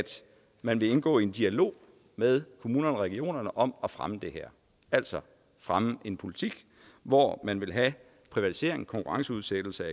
man vil indgå i en dialog med kommunerne og regionerne om at fremme det her altså fremme en politik hvor man vil have privatisering konkurrenceudsættelse